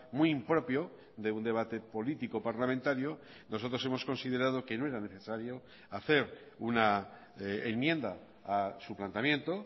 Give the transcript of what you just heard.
muy impropio de un debate político parlamentario nosotros hemos considerado que no era necesario hacer una enmienda a su planteamiento